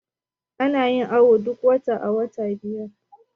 ana yin awo duk wata a wata biyar